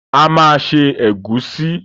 A ma ṣe ẹ̀gúsí